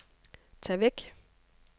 tag væk